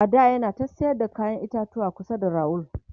a da yana ta sayar da kayan itatuwa kusa da rawul